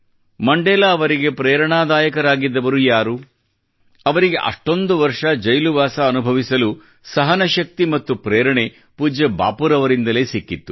Mandela ಅವರಿಗೆ ಪ್ರೆರಣಾದಾಯಕರಾಗಿದ್ದವರು ಯಾರು ಅವರಿಗೆ ಅಷ್ಟೊಂದು ವರ್ಷ ಜೈಲುವಾಸ ಅನುಭವಿಸಲು ಸಹನಶಕ್ತಿ ಮತ್ತು ಪ್ರೇರಣೆ ಪೂಜ್ಯಬಾಪೂರವರಿಂದಲೇ ಸಿಕ್ಕಿತ್ತು